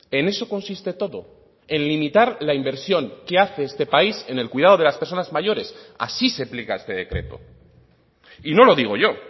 en eso consiste todo en limitar la inversión que hace este país en el cuidado de las personas mayores así se aplica este decreto y no lo digo yo